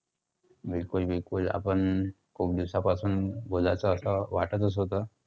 बिलकुल बिलकुल आपण खूप दिवसापासून बोलायचं होतं, वाटतच होतं.